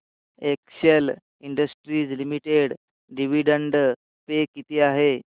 Excel Industries Limited dividend pay किती आहे